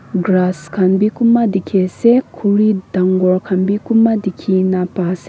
grass khan bhi dekhi ase khori dagur khan bhi kunba dekhi na paise.